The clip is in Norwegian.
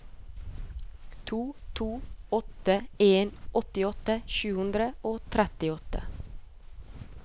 to to åtte en åttiåtte sju hundre og trettiåtte